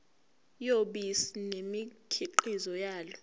yobisi nemikhiqizo yalo